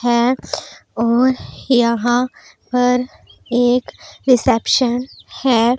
हैं और यहां पर एक रिसेप्शन है।